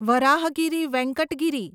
Varahagiri Venkata Giri